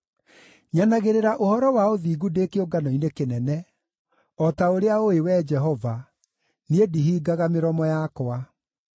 Nyanagĩrĩra ũhoro wa ũthingu ndĩ kĩũngano-inĩ kĩnene; o ta ũrĩa ũũĩ, Wee Jehova, niĩ ndihingaga mĩromo yakwa.